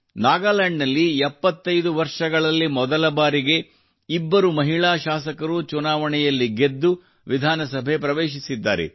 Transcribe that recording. ನಾಗಾಲ್ಯಾಂಡ್ ನಲ್ಲಿ 75 ವರ್ಷಗಳಲ್ಲಿ ಮೊದಲಬಾರಿಗೆ ಇಬ್ಬರು ಮಹಿಳಾ ಶಾಸಕರು ಚುನಾವಣೆಯಲ್ಲಿ ಗೆದ್ದು ವಿಧಾನಸಭೆ ಪ್ರವೇಶಿದ್ದಾರೆ